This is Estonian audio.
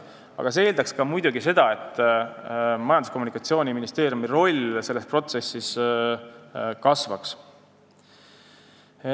See kõik aga eeldaks muidugi, et Majandus- ja Kommunikatsiooniministeeriumi roll selles protsessis kasvaks.